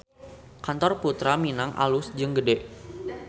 Kantor Purta Minang alus jeung gede